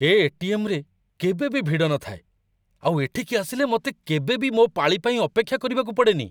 ଏ ATM. ରେ କେବେ ବି ଭିଡ଼ ନଥାଏ, ଆଉ ଏଠିକି ଆସିଲେ ମତେ କେବେ ବି ମୋ' ପାଳି ପାଇଁ ଅପେକ୍ଷା କରିବାକୁ ପଡ଼େନି ।